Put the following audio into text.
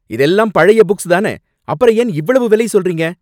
இதெல்லாம் பழைய புக்ஸ் தான, அப்புறம் ஏன் இவ்வளவு விலை சொல்றீங்க?